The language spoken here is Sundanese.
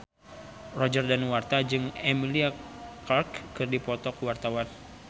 Roger Danuarta jeung Emilia Clarke keur dipoto ku wartawan